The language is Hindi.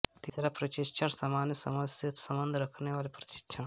तीसरा परीक्षण सामान्य समझ से सम्बन्ध रखने वाले परीक्षण